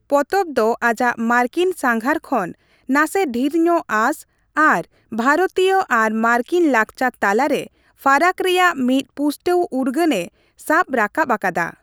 ᱯᱚᱛᱚᱵᱽ ᱫᱚ ᱟᱡᱟᱜ ᱢᱟᱨᱠᱤᱱ ᱥᱟᱸᱜᱷᱟᱨ ᱠᱷᱚᱱ ᱱᱟᱥᱮ ᱰᱷᱤᱨ ᱧᱚᱜ ᱟᱸᱥ ᱟᱨ ᱵᱷᱟᱨᱚᱛᱤᱭᱚ ᱟᱨ ᱢᱟᱨᱠᱤᱱ ᱞᱟᱠᱪᱟᱨ ᱛᱟᱞᱟᱨᱮ ᱯᱷᱟᱨᱟᱠ ᱨᱮᱭᱟᱜ ᱢᱤᱫ ᱯᱩᱥᱴᱟᱹᱣ ᱩᱨᱜᱟᱹᱱᱮ ᱥᱟᱵ ᱨᱟᱠᱟᱵ ᱟᱠᱟᱫᱟ ᱾